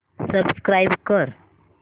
subscribe कर